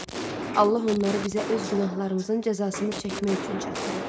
Allah onları bizə öz günahlarımızın cəzasını çəkmək üçün çatdırır.